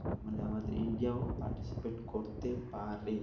মানে আমাদের India ও participate করতে পারে।